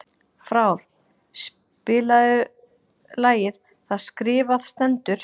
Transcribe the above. Frár, spilaðu lagið „Það skrifað stendur“.